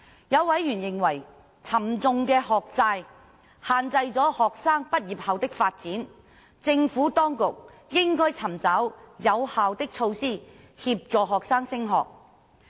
有委員認為，沉重的學債限制了學生畢業後的發展，政府當局應該尋找有效的措施協助學生升學。